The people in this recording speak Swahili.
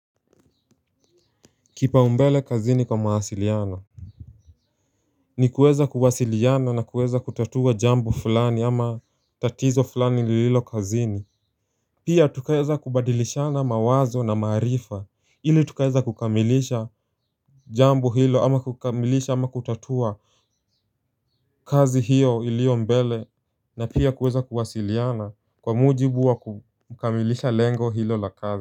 Kipaumbele kazini kwa mawasiliano ni kuweza kuwasiliana na kuweza kutatua jambu fulani ama tatizo fulani lililo kazini. Pia tukaeza kubadilishana mawazo na maarifa ili tukaeza kukamilisha jambu hilo ama kukamilisha ama kutatua kazi hiyo ilio mbele na pia kueza kuwasiliana kwa mujibu wa kukamilisha lengo hilo lakabe.